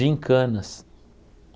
Gincanas.